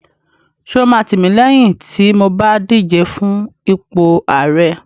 Ṣé o máa tìmílẹ́yìn tí mo bá díje fún ipò ààrẹ?